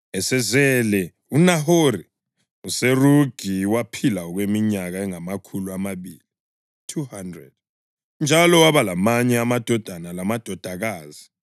Esezele uNahori, uSerugi waphila okweminyaka engamakhulu amabili (200), njalo waba lamanye amadodana lamadodakazi.